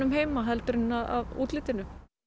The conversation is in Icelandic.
heima heldur en af útlitinu